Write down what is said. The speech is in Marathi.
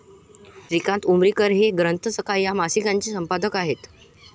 श्रीकांत उमरीकर हे 'ग्रंथसखा' या मासिकाचे संपादक आहेत.